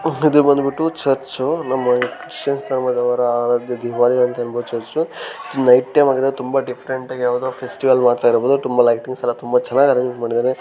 ಚಿತ್ರ ಬಂದ್ಬಿಟ್ಟು ಚರ್ಚ್ ನಮ್ಮ ಚರ್ಚ್ ರಾವ ಆರಾಧ್ಯ ದೈವ ಅಂತ ಹೇಳಬಹುದು ಚರ್ಚ್ ನೈಟ್ ಟೈಮ್ ಅಲ್ಲಿ ಯಾವದೋಒಂದು ಫೆಸ್ಟಿವಲ್ ಮಾಡ್ತಾಯಿರೋದ್ದ್ರಿಂದ ಲೈಟಿಂಗ್ಸ್ ಎಲ್ಲ ತುಂಬಾ ಚೆನ್ನಾಗಿ ಅರೇಂಜ್ಮೆಂಟ್ ಮಾಡಿದ್ದಾರೆ.